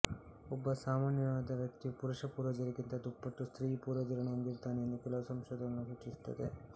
ಒಬ್ಬ ಸಾಮಾನ್ಯವಾದ ವ್ಯಕ್ತಿಯು ಪುರುಷ ಪೂರ್ವಜರಿಗಿಂತ ದುಪ್ಪಟ್ಟು ಸ್ತ್ರೀ ಪೂರ್ವಜರನ್ನು ಹೊಂದಿರುತ್ತಾನೆ ಎಂದು ಕೆಲವು ಸಂಶೋಧನೆಗಳು ಸೂಚಿಸುತ್ತವೆ